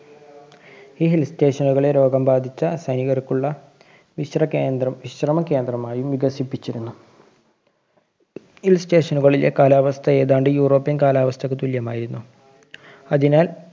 ഈ Hill station ളെ രോഗം ബാധിച്ച സൈനികര്‍ക്കുള്ള വിശ്ര~വിശ്രമ കേന്ദ്രമായി വികസിപ്പിച്ചിരുന്നു. Hill station കളിലെ കാലാവസ്ഥ ഏതാണ്ട് യൂറോപ്യന്‍ കാലാവസ്ഥക്ക് തുല്യമായിരുന്നു. അതിനാല്‍